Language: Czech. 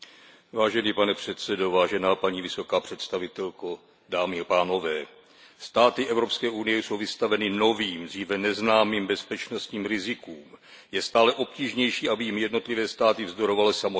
Pane předsedající, vážená paní vysoká představitelko, státy Evropské unie jsou vystaveny novým, dříve neznámým bezpečnostním rizikům. Je stále obtížnější, aby jim jednotlivé státy vzdorovaly samostatně.